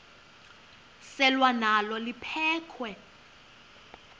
selwa nalo liphekhwe